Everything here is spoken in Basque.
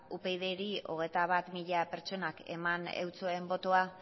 upydri hogeita bat mila pertsonak eman eutsien botoa